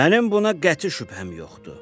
Mənim buna qəti şübhəm yoxdur.